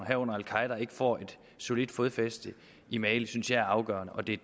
herunder al qaeda ikke får et solidt fodfæste i mali synes jeg er afgørende og det